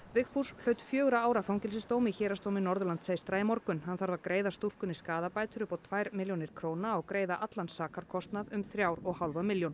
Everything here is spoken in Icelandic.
Vigfús hlaut fjögurra ára fangelsisdóm í Héraðsdómi Norðurlands eystra í morgun hann þarf að greiða stúlkunni skaðabætur upp á tvær milljónir og greiða allan sakarkostnað um þrjár og hálfa milljón